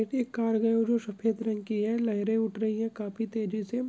एक कार जो जो सफ़ेद रंग की है लेहेरे उठ रही है काफी तेज़ी से।